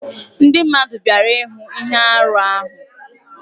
Ndị mmadụ bịara ịhụ ihe arụ ahụ.